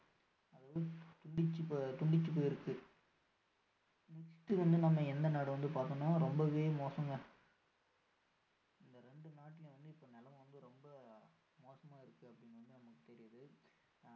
துண்டுச்சி துண்டுச்சி போயிருக்கு next வந்து நம்ம எந்த நாடு வந்து பார்த்தோம்னா ரொம்பவே மோசங்க இந்த இரண்டு நாட்டுலயும் வந்து இப்போ நிலமை ரொம்ப மோசமா இருக்குன்னு வந்து நமக்கு தெரியுது